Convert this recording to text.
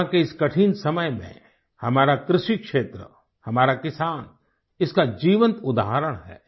corona के इस कठिन समय में हमारा कृषि क्षेत्र हमारा किसान इसका जीवंत उदाहरण हैं